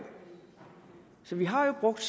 så vi har jo brugt